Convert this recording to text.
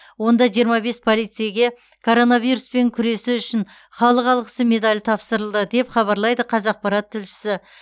онда жиырма бес полицейге коронавируспен күресі үшін халық алғысы медалі тапсырылды деп хабарлайды қазақпарат тілшісі